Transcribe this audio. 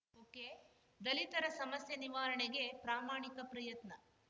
ಒಕೆದಲಿತರ ಸಮಸ್ಯೆ ನಿವಾರಣೆಗೆ ಪ್ರಾಮಾಣಿಕ ಪ್ರಯತ್ನ